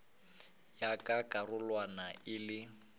ya ka karolwana ya le